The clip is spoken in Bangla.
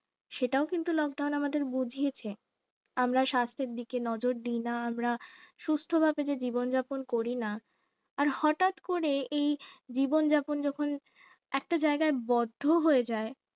সেটা কিন্তু lockdown আমাদের বুঝিয়েছে, আমরা স্বাস্থ্যের দিকে নজর দিয়ে না আমরা সুস্থভাবে যে জীবন যাপন করিনা আর হঠাৎ করে এই জীবনযাপন যখন একটা জায়গায় বদ্ধ হয়ে যায়